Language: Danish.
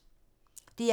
DR1